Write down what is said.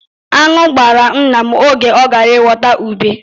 Aṅụ gbara nna m oge ọ gara ịghọta ube.